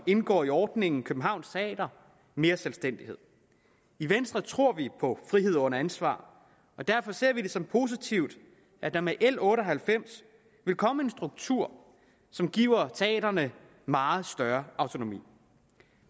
indgår i ordningen københavns teater mere selvstændighed i venstre tror vi på frihed under ansvar og derfor ser vi det som positivt at der med l otte og halvfems vil komme en struktur som giver teatrene meget større autonomi